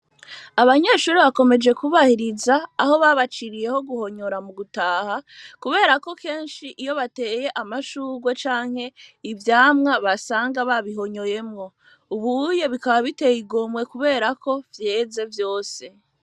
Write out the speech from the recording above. Abanyeshure bakomeje kubahiriza aho babaciriye ho guhonyora mu gutaha kubera ko kenshi iyo bateye amashugwe canke ivyamwa basanga babihonyoyemwo. Ubu uye bikaba biteye igomwe kubera ko vyeze vyose.